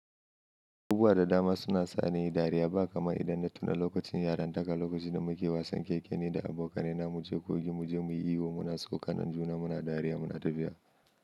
Uba da dama suna sa ni dariya, ba kamar idan na tuna lokacin yarantaka, lokacin da muke wasan keke ne da abokanai na mu je kogi mu je muyi iyo, muna saukan juna muna dariya muna tafiya.